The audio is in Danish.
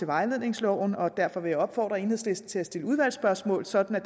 vejledningsloven og derfor vil jeg opfordre enhedslisten til at stille udvalgsspørgsmål sådan at